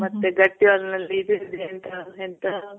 ಮತ್ತೆ ಗಟ್ಟಿ ಹಾಲ್ ನಲ್ಲಿ ಇದ್ ಇದೆ ಅಂತೆ. ಎಂತ